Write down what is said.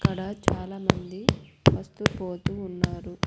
ఇక్కడ చాలా మంది వస్తూ పోతూ ఉన్నారు.